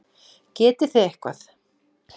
Getið þið eitthvað?